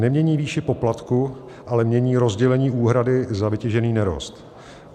Nemění výši poplatku, ale mění rozdělení úhrady za vytěžený nerost.